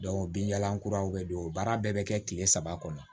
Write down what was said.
binjalan kuraw be don baara bɛɛ bɛ kɛ kile saba kɔnɔ